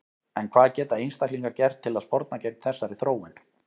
En hvað geta einstaklingar gert til að sporna gegn þessari þróun?